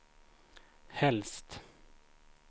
helst